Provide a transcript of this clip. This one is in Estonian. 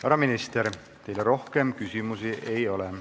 Härra minister, teile rohkem küsimusi ei ole.